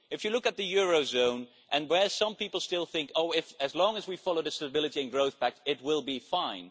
If you look at the eurozone, some people still think that, as long as we follow the Stability and Growth Pact, it will be fine.